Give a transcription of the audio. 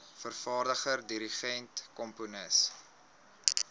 vervaardiger dirigent komponis